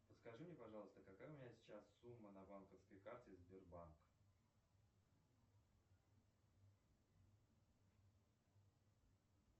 подскажи мне пожалуйста какая у меня сейчас сумма на банковской карте сбербанк